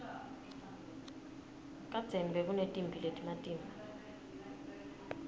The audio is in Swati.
kadzeni bekunetimphi letimatima